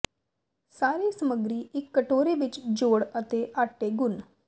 ਸਾਰੇ ਸਮੱਗਰੀ ਇੱਕ ਕਟੋਰੇ ਵਿੱਚ ਜੋੜ ਅਤੇ ਆਟੇ ਗੁਨ੍ਹ